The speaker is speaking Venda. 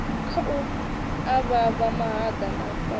khu avhavha mahaḓa na magona